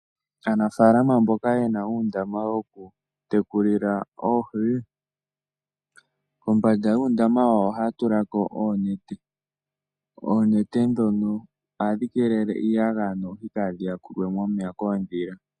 Aanafaalama mboka yena uundama woku tekulila oohi kombanda yuundama wayo ohaya tulako oonete . Oonete ndhono ohadhi keelele iiyagaya noohi kaadhi yakulwemo momeya koondhila.